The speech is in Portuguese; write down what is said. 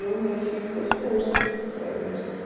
Eu, minha filha e meu esposo para igreja, assim.